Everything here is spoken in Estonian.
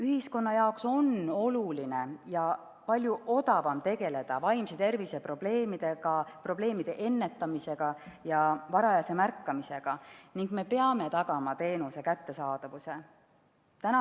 Ühiskonna jaoks on oluline ja palju odavam tegeleda vaimse tervise probleemide ennetamise ja varajase märkamisega ning me peame tagama teenuse kättesaadavuse.